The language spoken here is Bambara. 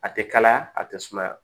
A tɛ kalaya a tɛ sumaya